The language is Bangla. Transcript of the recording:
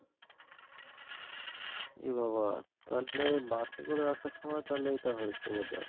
এ বাবা তাহলে bus এ করে আসার সময় তাহলে এটা হয়েছে বোধহয়।